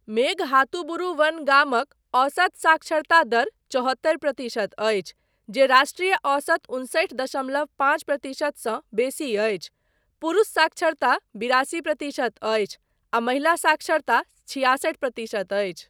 मेघहातुबुरु वन गामक औसत साक्षरता दर चौहत्तरि प्रतिशत अछि, जे राष्ट्रीय औसत उनसठि दशमलव पाँच प्रतिशत सँ बेसी अछि , पुरुष साक्षरता बिरासी प्रतिशत अछि, आ महिला साक्षरता छियासठि प्रतिशत अछि।